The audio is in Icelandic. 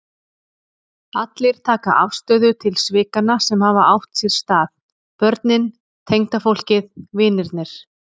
Allir taka afstöðu til svikanna sem hafa átt sér stað, börnin, tengdafólkið, vinirnir.